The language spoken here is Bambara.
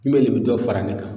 N'ole be dɔ fara ne kan